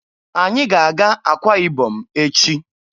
Anyị ga-aga Akwa Ibom echi.